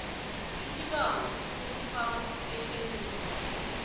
isibawo sokufakwa ehlelweni